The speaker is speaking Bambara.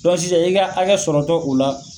Dɔnk sisan , i ka hakɛ sɔrɔtɔ o la.